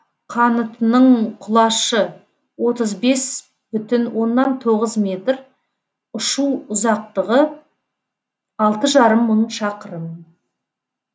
қанытының құлашы отыз бес бүтін оннан тоғыз метр ұшу ұзақтығы алты жарым мың шақырым